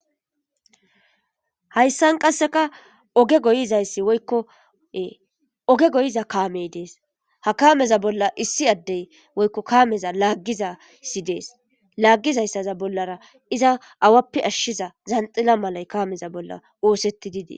Hayssan qasseka oge goyizayssi ykko oge goyiza kaamey dees ha kaameza bolla issi addey woykko kaameza laaggizasi dees laaggizayssaza bollara iza awappe ashshiza zanxila malay kaameza bolla woosetti didei.